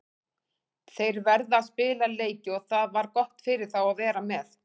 Þeir verða að spila leiki og það var gott fyrir þá að vera með.